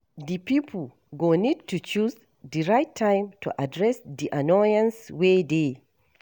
Di pipo go need to choose di right time to address di annoyance wey dey